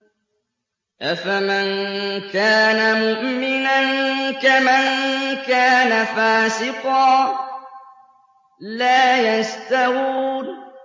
أَفَمَن كَانَ مُؤْمِنًا كَمَن كَانَ فَاسِقًا ۚ لَّا يَسْتَوُونَ